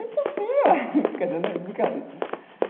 É impossível, quer dizer né, é brincadeira.